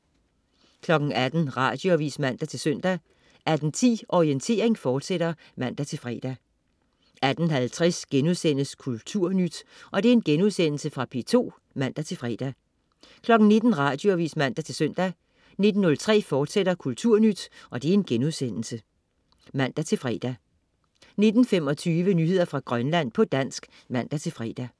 18.00 Radioavis (man-søn) 18.10 Orientering, fortsat (man-fre) 18.50 Kulturnyt.* Genudsendelse fra P2 (man-fre) 19.00 Radioavis (man-søn) 19.03 Kulturnyt, fortsat* (man-fre) 19.25 Nyheder fra Grønland, på dansk (man-fre)